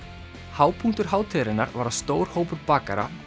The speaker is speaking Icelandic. hápunktur hátíðarinnar var að stór hópur bakara